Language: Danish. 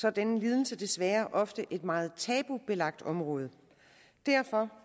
er den lidelse desværre ofte et meget tabubelagt område derfor